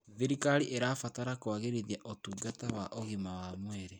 Thirikari ĩrabatara kũagĩrithia ũtungata wa ũgima wa mwĩrĩ.